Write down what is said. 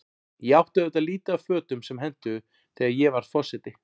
Ég átti auðvitað lítið af fötum sem hentuðu, þegar ég varð forseti.